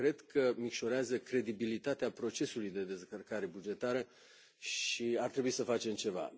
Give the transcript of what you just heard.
Cred că micșorează credibilitatea procesului de descărcare bugetară și ar trebui să facem ceva.